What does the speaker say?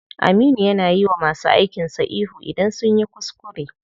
Aminu ya na yiwa masu aikin sa ihu idan sunyi kuskure.